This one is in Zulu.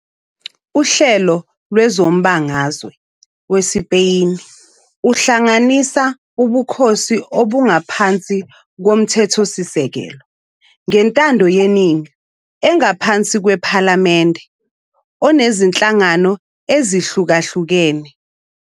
uHlelo lwezombangazwe weSpeyini uhlanganisa ubukhosi obungaphansi kwomthethosikelelo ngentandoyeningi engaphansi kwephalamende onezinhlangano ezihlukahlukene.